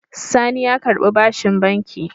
Sani ya karɓi bashin banki.